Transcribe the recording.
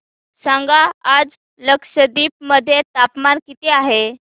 सांगा आज लक्षद्वीप मध्ये तापमान किती आहे